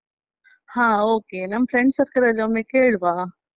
ಹಾ okay ನಮ್ friend circle ಲಲ್ಲಿ ಒಮ್ಮೆ ಕೇಳುವ.